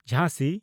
ᱡᱷᱟᱸᱥᱤ